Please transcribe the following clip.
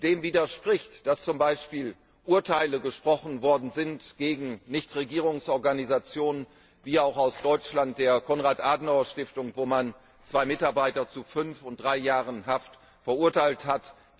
Dem widerspricht, dass zum Beispiel Urteile gesprochen worden sind gegen Nichtregierungsorganisationen wie auch die Konrad Adenauer Stiftung aus Deutschland, wo man zwei Mitarbeiter zu fünf und drei Jahren Haft verurteilt hat.